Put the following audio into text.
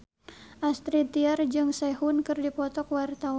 Astrid Tiar jeung Sehun keur dipoto ku wartawan